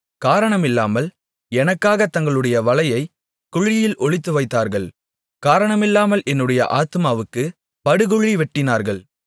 காரணமில்லாமல் எனக்காகத் தங்களுடைய வலையைக் குழியில் ஒளித்துவைத்தார்கள் காரணமில்லாமல் என்னுடைய ஆத்துமாவுக்குப் படுகுழி வெட்டினார்கள்